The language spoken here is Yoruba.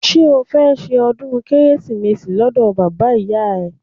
Ṣé o fẹ́ ṣe ọdún Kérésìmesì lọ́dọ̀ bàbá ìyá rẹ?